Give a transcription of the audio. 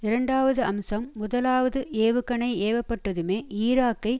இரண்டாவது அம்சம் முதலாவது ஏவுகணை ஏவப்பட்டதுமே ஈராக்கை